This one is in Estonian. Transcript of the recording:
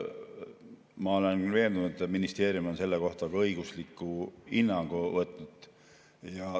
Ma olen veendunud, et ministeerium on selle kohta ka õigusliku hinnangu võtnud.